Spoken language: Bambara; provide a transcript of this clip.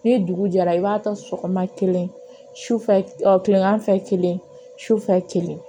Ni dugu jɛra i b'a ta sɔgɔma kelen sufɛ kilegan fɛ kelen sufɛ kelen